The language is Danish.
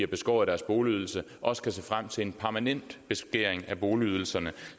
beskåret deres boligydelse også kan se frem til en permanent beskæring af boligydelserne